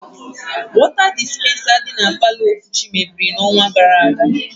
Wọta dispensa dị na palọ Okwuchi mebiri n' ọnwa gara aga.